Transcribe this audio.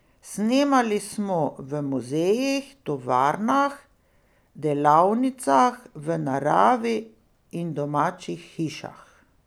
Snemali smo v muzejih, tovarnah, delavnicah, v naravi in domačih hišah.